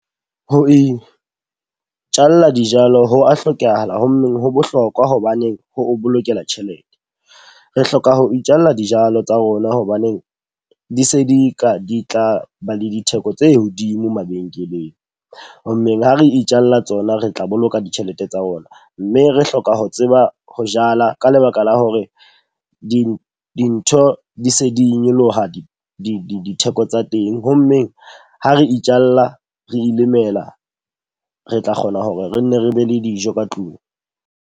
Ho itjalla dijalo ho a hlokahala ho mmeng ho bohlokwa hobaneng ho o bolokela tjhelete. Re hloka ho itjalla dijalo tsa rona hobaneng di se di ka di tla ba le ditheko tse hodimo mabenkeleng. Ho mmeng ha re itjalla tsona, re tla boloka ditjhelete tsa rona. Mme re hloka ho tseba ho jala ka lebaka la hore dintho dintho di se di nyoloha ditheko tsa teng. Ho mmeng ha re itjalla, re ilemela, re tla kgona hore re nne re be le dijo ka tlung.